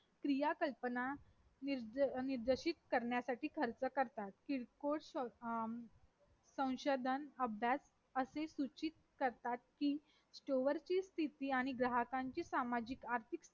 क्रिया कल्पना निर्देशित करण्यासाठी खर्च करतात किरकोळ संशोधन अभ्यास असे सूचित करतात कि store ची स्तिथी आणि ग्राहकाची सामाजिक आर्थिक स्थिती